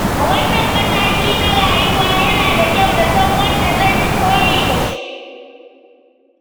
A wannan mataki na rayuwa, yana da kyau na san wanda zan yi koyi da shi.